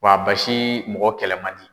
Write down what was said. Wa a basi mɔgɔ kɛlɛ man di.